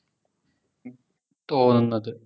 തോന്നുന്നത്